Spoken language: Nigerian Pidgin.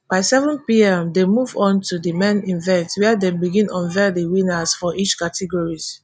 by seven pm dem move on to di main event wia dem begin unveil di winners for each categories.